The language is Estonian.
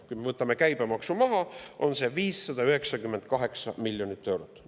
Kui me võtame käibemaksu maha, siis on seda 598 miljonit eurot.